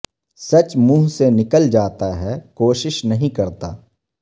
سچ منہ سے نکل جاتا ہے کو شش نہیں کرتا